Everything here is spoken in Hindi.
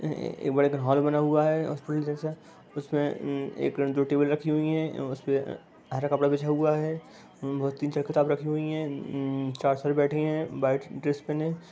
एक बड़ेक हॉल बना हुआ है जैसा उसमें उ एक जो टेबल रखी हुई है उसपे अ हर कपड़ा बिछा हुआ है बहोत तीन-चार किताब रखी हुई है उ चार सर बेठे हैं बाइट ड्रेस पेहने ।